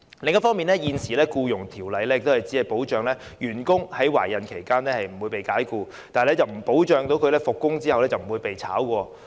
另一方面，現時《僱傭條例》只保障員工在懷孕期間不會被解僱，但不保障復工後不被解僱。